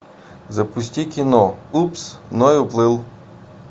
запусти кино упс ной уплыл